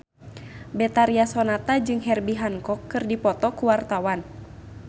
Betharia Sonata jeung Herbie Hancock keur dipoto ku wartawan